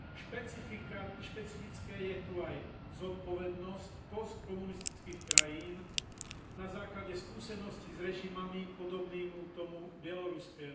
Špecifikom je tu aj zodpovednosť postkomunistických krajín na základe skúseností s režimami podobnými tomu bieloruskému.